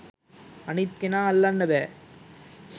අනිත් කෙනා අල්ලන්න බෑ